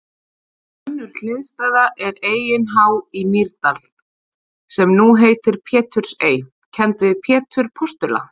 Önnur hliðstæða er Eyin há í Mýrdal, sem nú heitir Pétursey, kennd við Pétur postula.